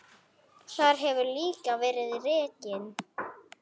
Þar hefur líka verið rekin